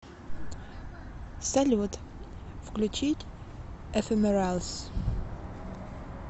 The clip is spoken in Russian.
салют включить эфемералс